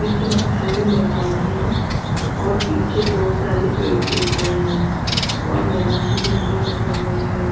बीच में खाली मैदान है और पीछे बहुत सारे पेड़-पौधे हैं और मैदान में झंडा लगा हुआ है.